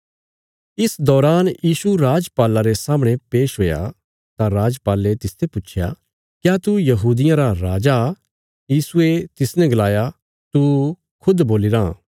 इस दौरान यीशु राजपाला रे सामणे पेश हुया तां राजपाले तिसते पुच्छया क्या तू यहूदियां रा राजा यीशुये तिसने गलाया तू खुद बोलीराँ